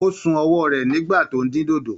Ó sun ọwọ́ rẹ̀ nígbà tó ń dín dòdò.